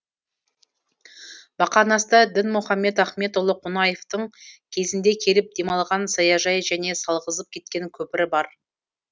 бақанаста дінмұхамед ахметұлы қонаевтың кезінде келіп демалған саяжайы және салғызып кеткен көпірі бар